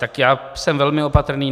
Tak já jsem velmi opatrný.